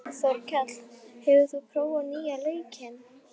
Brýnast þessara verkefna var að færa tungumálakennsluna til nútímahorfs.